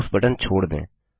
mouse button छोड़ दें